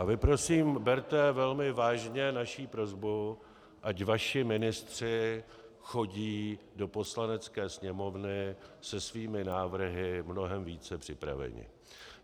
A vy prosím berte velmi vážně naši prosbu, ať vaši ministři chodí do Poslanecké sněmovny se svými návrhy mnohem více připraveni.